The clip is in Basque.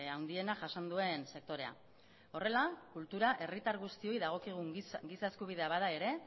handiena jasan duen sektorea horrela kultura herritar guztiei dagokigun giza eskubidea bada ere